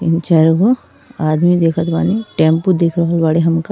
तीन चार गो आदमी देखत बानी। टेम्पू दिखत बाड़े हमका।